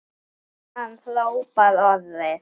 Hann hrópar orðin.